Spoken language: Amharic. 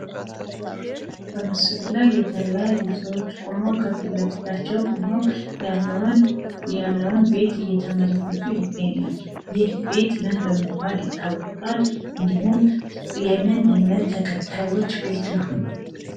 በምስሉ ላይ የተለያዩ ሰዎች ቆመው ከፊታቸው ያለውን ቤት እየተመለከቱ ይገኛሉ። ይህ ቤት ምን በመባል ይታወቃል እንዲሁም የምን እምነት ተከታዮች ቤት ነው?